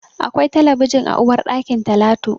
Akwai talabijin a uwarɗakin Talatu.